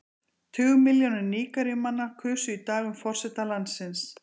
Tugmilljónir Nígeríumanna kusu í dag um forseta landsins.